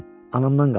Anamdan qalıb.